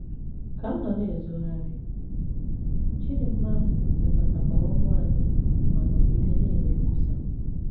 Ka m nọ na - ezogharị,, Chidinma lekọtara ụmụ anyị ma nọgide na - eme nkwusa.